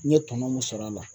N ye tɔnɔ mun sɔrɔ a la.